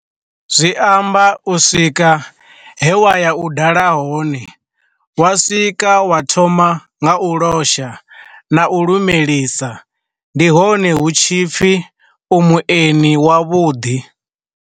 Zwi amba u swika he wa ya u dala hone, wa swika wa thoma nga u losha na u lumelisa ndi hone hu tshipfi u mueni wa vhuḓi.